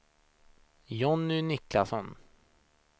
Jonny Niklasson